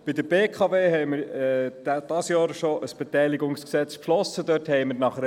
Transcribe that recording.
Die glp hat beantragt, dass das Postulat bei einer Annahme abgeschrieben werden solle.